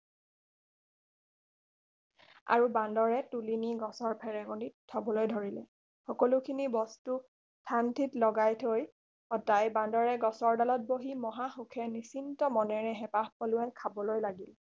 আৰু বান্দৰে তুলি নি গছৰ ফেৰেঙনিত থবলৈ ধৰিলে সকলো খিনি বস্তুক থান থিত লগাই থৈ অতাই বান্দৰে গছৰ দালত বহি মহাসুখে নিচিন্ত মনেৰে হেপাহ পলুৱাই খাবলৈ লাগিল